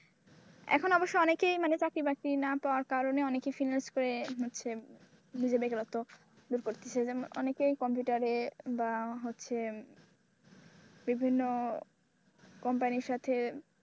এখন অবশ্য অনেকেই মানে চাকরিবাকরি না পাওয়ার কারণে অনেকেই finance করে হচ্ছে, যে বেকারত্ব দূর করতেছে অনেকেই কম্পিউটারে বা হচ্ছে বিভিন্ন কোম্পানির সাথে,